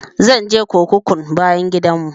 Zan je kurkukun bayan gidan mu